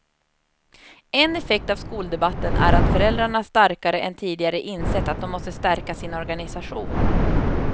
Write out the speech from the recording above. En effekt av skoldebatten är att föräldrarna starkare än tidigare insett att de måste stärka sin organisation.